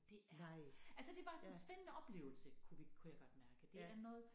Det er altså det var en spændende oplevelse kunne vi kunne jeg godt mærke det er noget